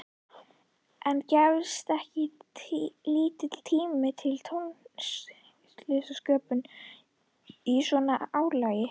En gefst ekki lítill tími til tónlistarsköpunar í svona álagi?